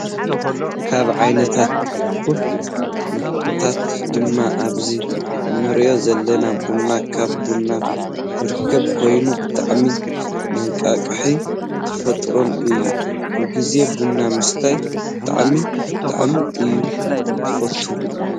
ካብ ዓይነታት ትኩስ መስተታት ድማ ኣብዚ እንሪኦ ዘለና ቡን ካብ ቡን ዝርከብ ኮይኑ ብጣዕሚ መናቃቅን ተፈታውን እዩ። ኩሉግዜ ቡና ምስታይ ብጣዕሚ! ብጣዕሚ! እየ ዝፈቱ።